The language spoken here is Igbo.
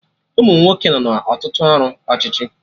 Umunwoke nọ na Ọtụtụ ọrụ ọchịchị